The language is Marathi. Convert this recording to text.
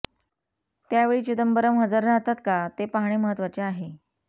त्यावेळी चिदंबरम हजर राहतात का हे पाहणे महत्त्वाचे आहे